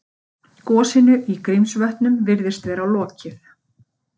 Gosinu í Grímsvötnum virðist vera lokið